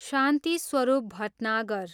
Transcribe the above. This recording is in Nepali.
शान्ति स्वरूप भटनागर